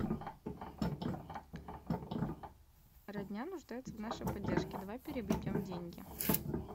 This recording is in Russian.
родня нуждается в нашей поддержке давай переведем деньги